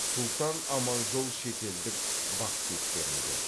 сұлтан аманжол шетелдік бақ беттерінде